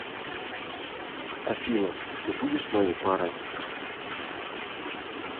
афина ты будешь моей парой